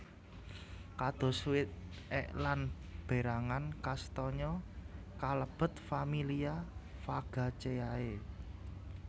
Kados wit ek lan berangan kastanya kalebet familia Fagaceae